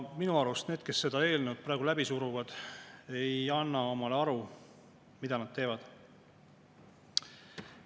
Minu arust need, kes seda eelnõu praegu läbi suruvad, ei anna endale aru, mida nad teevad.